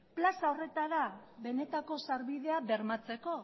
plaza horretara benetako sarbidea bermatzeko